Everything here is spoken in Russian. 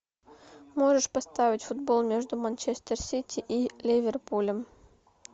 можешь поставить футбол между манчестер сити и ливерпулем